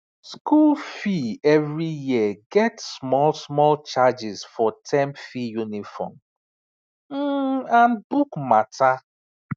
school fee every year get small small charges for term fee uniform um and book matter